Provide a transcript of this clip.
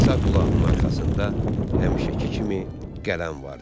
Sağ qulağının arxasında həmişəki kimi qələm vardı.